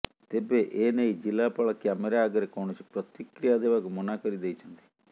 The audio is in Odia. ତେବେ ଏ ନେଇ ଜିଲ୍ଲାପାଳ କ୍ୟାମେରା ଆଗରେ କୌଣସି ପ୍ରତିକ୍ରିୟା ଦେବାକୁ ମନାକରିଦେଇଛନ୍ତି